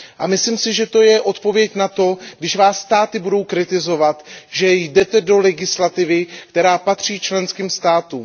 Myslím si, že to je odpověď na to, když vás státy budou kritizovat, že jdete do legislativy, která patří členským státům.